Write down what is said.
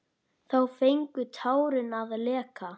Þá fengu tárin að leka.